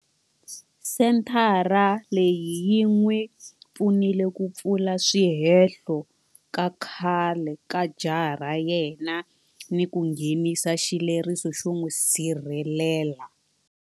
Senthara leyi yi n'wi pfunile ku pfula swihehlo ehenhla ka khale ka jaha ra yena ni ku nghenisa xileriso xo n'wi sirhelela.